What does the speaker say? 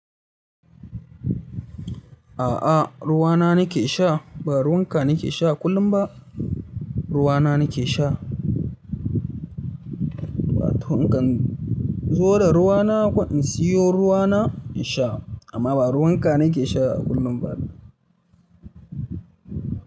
A'a ruwa na nake sha ba ruwan ka nake sha kullum ba ruwa na nake sha. Wa to in kan zo da ruwa na ko in siyo ruwa na in sha amma ba ruwan ka nake sha kullum ba.